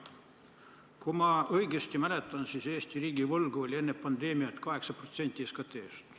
Kui ma õigesti mäletan, siis Eesti riigivõlg oli enne pandeemiat 8% SKT-st.